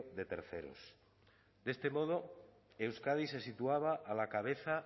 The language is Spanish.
de terceros de este modo euskadi se situaba a la cabeza